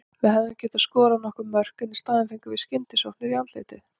Við hefðum getað skorað nokkur mörk en í staðinn fengum við skyndisóknir í andlitið.